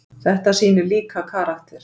Þetta sýnir líka karakter.